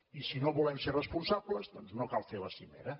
i si no volem ser responsables doncs no cal fer la cimera